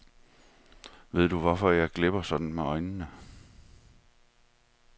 Ved du hvorfor jeg glipper sådan med øjnene?